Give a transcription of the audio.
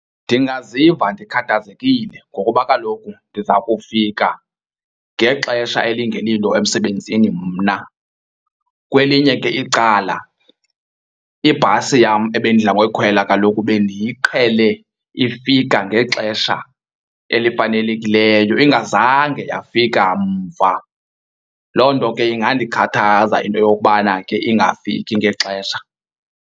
Ndingaziva ndikhathazekile ngokuba kaloku ndiza kufika ngexesha elingelilo emsebenzini mna. Kwelinye ke icala ibhasi yam ebendidla ngoyikhwela kaloku bendiyiqhele ifika ngexesha elifanelekileyo ingazange yafika mva. Loo nto ke ingandikhathaza into yokubana ke ingafiki ngexesha.